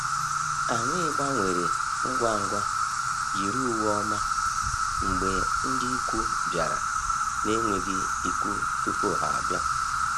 Anyị gbanwere ngwa ngwa yiri uwe ọma mgbe ndị ikwu bịara na-enweghị ikwu tupu ha abịa.